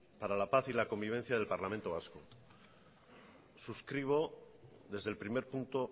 para la paz y la convivencia en el parlamento vasco suscribo desde el primer punto